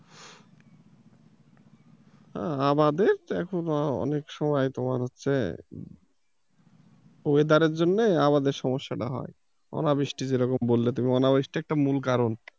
আমাদের তো এখনো অনেক সময় তোমার হচ্ছে weather এর জন্য আমাদের সমস্যাটা হয়, অনাবৃষ্টি যেরকম বললে তুমি অনাবৃষ্টিটা একটা মূল কারণ।